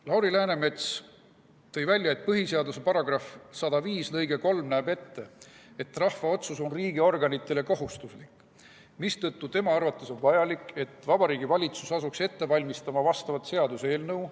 Lauri Läänemets tõi välja, et põhiseaduse § 105 lõige 3 näeb ette, et rahva otsus on riigiorganitele kohustuslik, mistõttu tema arvates on vajalik, et Vabariigi Valitsus asuks ette valmistama vastavat seaduseelnõu.